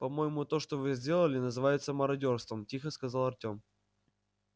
по-моему то что вы сделали называется мародёрством тихо сказал артём